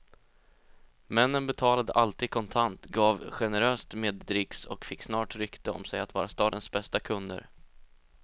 Männen betalade alltid kontant, gav generöst med dricks och fick snart rykte om sig att vara stadens bästa kunder.